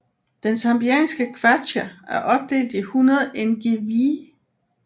Den zambianske kwacha er opdelt i 100 ngwee